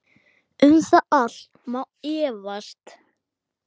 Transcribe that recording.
Um það allt má efast.